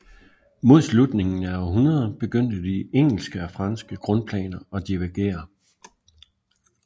Mod slutningen af århundredet begyndte de engelske og franske grundplaner at divergere